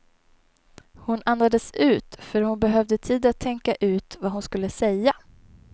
Hon andades ut, för hon behövde tid att tänka ut vad hon skulle säga.